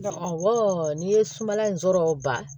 n'i ye sumala in sɔrɔ ban